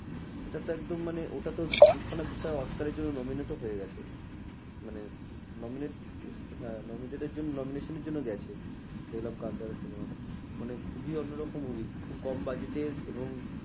সেটা তো একদম মানে ওটা তো দু খানা বিষয় oscar এর জন্য nominated হয়ে গেছে। মানে nominated হ্যাঁ nomination এর জন্য গেছে দেখলাম কান্তারা cinema টা। মানে খুবই অন্য রকম movie খুব কম budget এর এবং